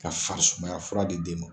Ka farisumaya fura di den ma.